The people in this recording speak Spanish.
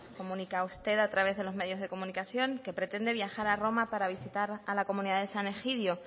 comunicaba usted a través de los medios de comunicación que pretende viajar a roma para visitar a la comunidad de san egidio